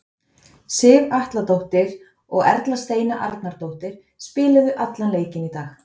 Sif Atladóttir og Erla Steina Arnardóttir, spiluðu allan leikinn í dag.